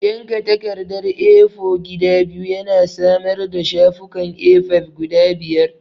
Yanka takardar A4 gida biyu yana samar da shafukan A5 guda biyu.